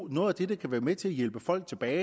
noget af det der kan være med til at hjælpe folk tilbage